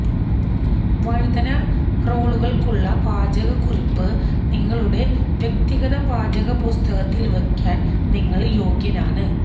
വഴുതന റോളുകൾക്കുള്ള പാചകക്കുറിപ്പ് നിങ്ങളുടെ വ്യക്തിഗത പാചകപുസ്തകത്തിൽ വയ്ക്കാൻ നിങ്ങൾ യോഗ്യനാണ്